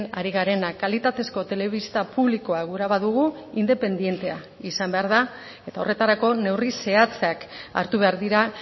ari garena kalitatezko telebista publikoa gura badugu independentea izan behar da eta horretarako neurri zehatzak hartu behar dira